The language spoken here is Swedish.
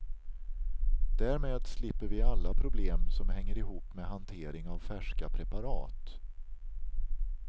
Därmed slipper vi alla problem som hänger ihop med hantering av färska preparat.